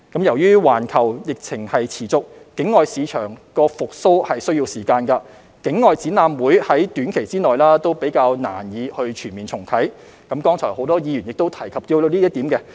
由於環球疫情持續，境外市場復蘇需時，境外展覽會於短期內難以全面重啟，剛才亦有很多議員提及到這點。